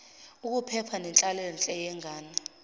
ukuphepha nenhlalonhle yengane